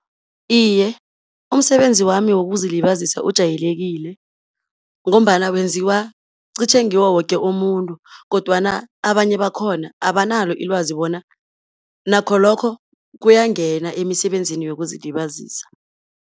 Iye umsebenzi wami wokuzilibazisa ujayelekile, ngombana wenziwa qitjhe ngiwo woke umuntu, kodwana abanye bakhona abanalo ilwazi bona, nakho lokho kuyangena emisebenzini yokuzilibazisa.